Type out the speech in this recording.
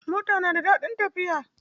Mota na da daɗin tafiya.